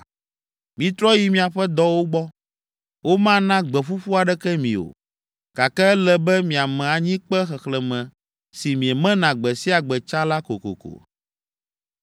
Mitrɔ yi miaƒe dɔwo gbɔ, womana gbe ƒuƒu aɖeke mi o, gake ele be miame anyikpe xexlẽme si miemena gbe sia gbe tsã la kokoko!”